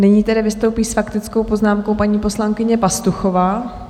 Nyní tedy vystoupí s faktickou poznámkou paní poslankyně Pastuchová.